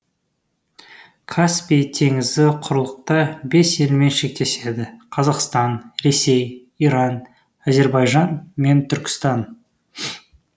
каспий теңізі құрлықта бес елмен шектеседі қазақстан ресей иран әзербайжан мен түркістан